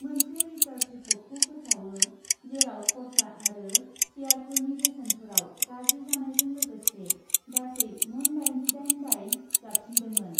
मोनसे रिसार्च रिपर्टखौ फोसावो, जेराव खरसा आरो शेरयारफोरनि बेसेनफोराव गाज्रि जानायजों लोगोसे गासै मोन दाइनजिदाइन दाय जाबसिनदोंमोन ।